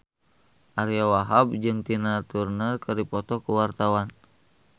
Ariyo Wahab jeung Tina Turner keur dipoto ku wartawan